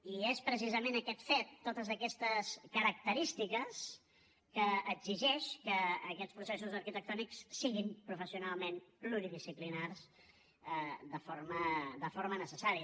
i és precisament aquest fet totes aquestes característiques que exigeix que aquests processos arquitectònics siguin professionalment pluridisciplinaris de forma necessària